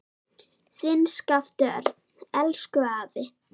Þinn Skapti Örn. Elsku afi.